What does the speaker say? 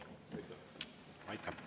Aitäh!